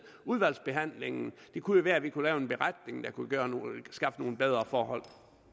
udvalgsbehandlingen det kunne jo være at vi kunne lave en beretning der kunne skaffe nogle bedre forhold